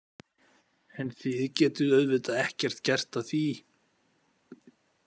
En þið getið auðvitað ekkert gert að því.